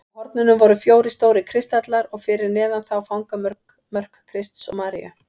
Á hornunum voru fjórir stórir kristallar og fyrir neðan þá fangamörk Krists og Maríu.